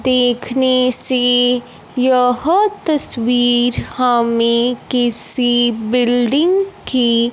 देखने से यह तस्वीर हमें किसी बिल्डिंग की--